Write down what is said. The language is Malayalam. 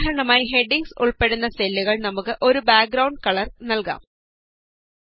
ഉദാഹരണമായി ഹെഡിംഗ്സ് ഉള്പ്പെടുന്ന സെല്ലുകള്ക്ക് നമുക്ക് ഒരു ബാക്ഗ്രൌണ്ഡ് കളര് നല്കാം